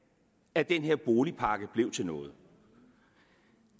at den her boligpakke blev til noget